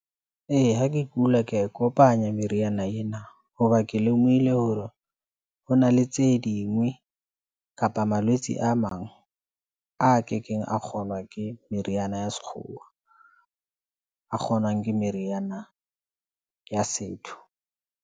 Ee, ha ke kula, ke ya e kopanya meriana ena hoba ke lemohile hore hona le tse dingwe kapa malwetse. A mang a kekeng a kgonwa ke meriana ya sekgowa, a kgonwang ke meriana ya setho.